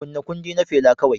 Kunna kundi na Fela kawai